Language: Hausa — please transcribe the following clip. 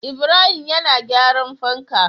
Ibrahim yan gyaran fanka